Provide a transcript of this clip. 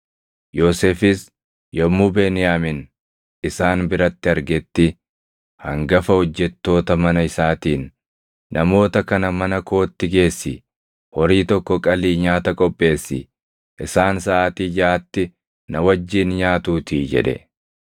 Yoosefis yommuu Beniyaamin isaan biratti argetti hangafa hojjettoota mana isaatiin, “Namoota kana mana kootti geessi; horii tokko qalii nyaata qopheessi; isaan saʼaatii jaʼatti na wajjin nyaatuutii” jedhe.